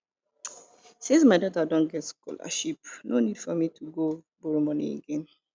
since my daughter don get scholarship no need for me to go borrow money again